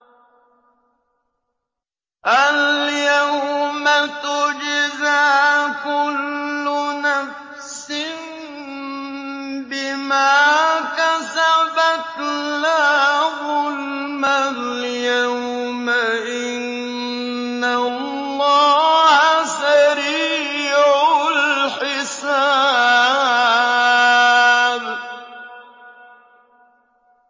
الْيَوْمَ تُجْزَىٰ كُلُّ نَفْسٍ بِمَا كَسَبَتْ ۚ لَا ظُلْمَ الْيَوْمَ ۚ إِنَّ اللَّهَ سَرِيعُ الْحِسَابِ